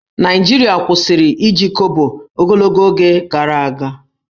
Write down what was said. Naịjirịa kwụsịrị iji Kobo ogologo oge gara aga